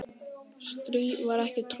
strý var ekki troðið